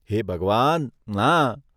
હે ભગવાન, ના.